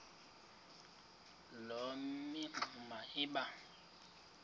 loo mingxuma iba